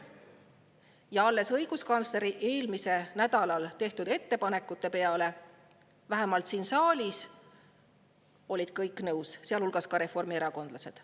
Ja alles õiguskantsleri eelmisel nädalal tehtud ettepanekute peale olid vähemalt siin saalis kõik nõus, sealhulgas reformierakondlased.